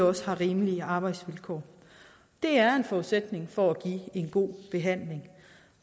også har rimelige arbejdsvilkår det er en forudsætning for at give en god behandling